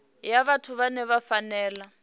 ya vhathu vhane vha fanela